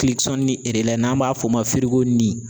n'an b'a f'o ma ni